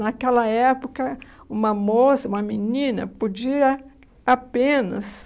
Naquela época, uma moça, uma menina, podia apenas...